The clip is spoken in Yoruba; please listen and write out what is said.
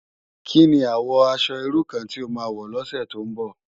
Ki ni àwò aṣò irú kàn ti ó má wò lòsè tó n bò?